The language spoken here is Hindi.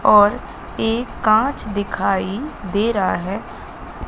और एक कांच दिखाई दे रहा है।